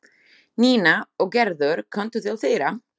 Nína og Gerður komu til þeirra.